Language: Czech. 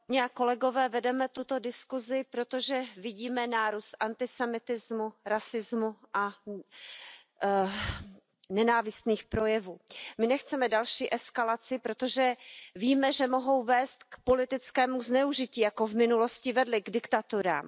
Pane předsedající, vedeme tuto diskuzi, protože vidíme nárůst antisemitismu, rasismu a nenávistných projevů. My nechceme další eskalace, protože víme, že mohou vést k politickému zneužití, tak jako v minulosti vedly k diktaturám.